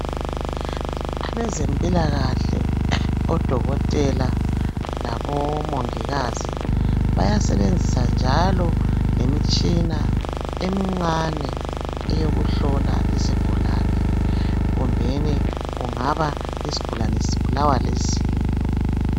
Abezempilakahle odokotela labomongikazi bayasebenzisa njalo lemitshina emincane eyokuhlola izigulane kumbeni kungaba yisgulani sibulawa lizinyo.